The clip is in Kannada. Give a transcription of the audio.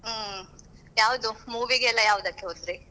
ಹ್ಮ್ ಯಾವ್ದು movie ಗೆಲ್ಲಾ ಯಾವುದಕ್ಕೆ ಹೋದ್ರಿ?